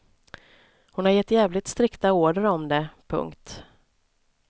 Hon har gett jävligt strikta order om det. punkt